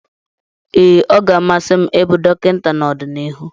Ee, ọ ga-amasị m ịbụ dọkịta n'ọdịnihu.